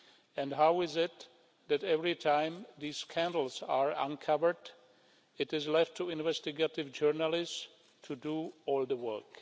And how is it that, every time these scandals are uncovered, it is left to investigative journalists to do all the work?